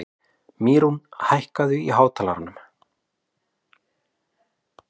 Mýrún, hækkaðu í hátalaranum.